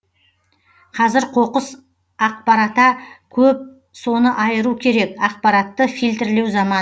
қазір қоқыс ақпарата көп соны айыру керек ақпаратты фильтрлеу заманы